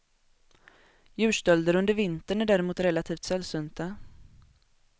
Djurstölder under vintern är däremot relativt sällsynta.